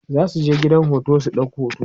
zasuje gidan hoto su ɗau hoto